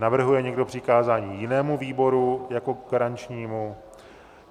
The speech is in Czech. Navrhuje někdo přikázání jinému výboru jako garančnímu?